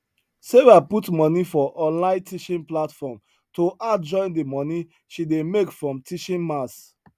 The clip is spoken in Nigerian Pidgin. sarah put money for online teaching platform to add join the money she dey make from teaching maths